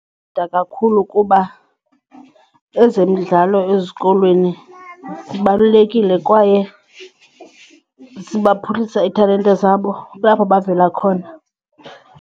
kakhulu kuba ezemidlalo ezikolweni zibalulekile kwaye sibaphuhlisa iitalente zabo, kulapho bavela khona.